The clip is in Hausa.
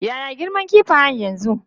Ya ya girman kifayen yanzu?